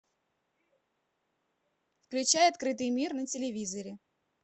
включай открытый мир на телевизоре